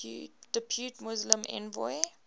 depute muslim envoy